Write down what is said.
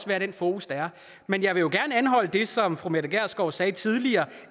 være den fokus der er men jeg vil jo gerne anholde det som fru mette gjerskov sagde tidligere